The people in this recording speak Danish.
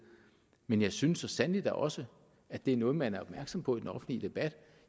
men jeg synes så sandelig da også at det er noget man er opmærksom på i den offentlige debat